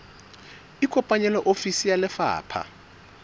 ikopanye le ofisi ya lefapha